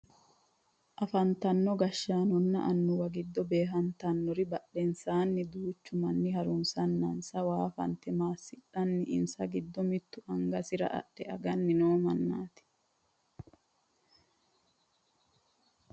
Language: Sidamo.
afantino gashshaanonna annuwu giddo beehantannori badhensaanni duuchu manni harunsannansa waa fante maassiissanna insa giddo mittu angasira adhe aganni no mannaati